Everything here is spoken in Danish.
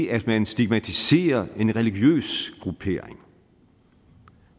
at man stigmatiserer en religiøs gruppering